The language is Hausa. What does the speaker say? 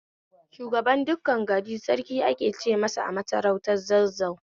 Shugaban dukkan gari Sarki ake ce masa a masarautar Zazzau